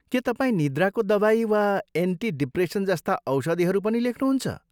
के तपाईँ निद्राको दवाई वा एन्टी डिप्रेसन जस्ता औषधीहरू पनि लेख्नुहुन्छ?